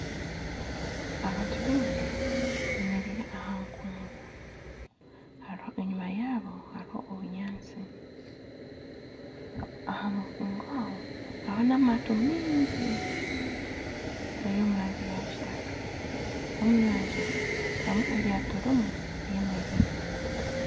Abantu baingi beemereire aha nkungu enyima yaabo hariho ebinyaatsi aha nkungu aho hariho n'amaato maingi gari omu rangi ya kitaka omu nyanja harimu eryato rimwe ryemereire